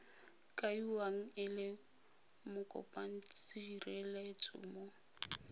kaiwang e le mokopatshireletso mo